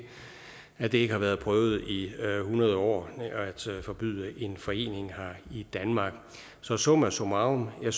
at det ikke har været prøvet i hundrede år at forbyde en forening i danmark så summa summarum er